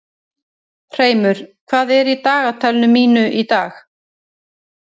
Hreimur, hvað er í dagatalinu mínu í dag?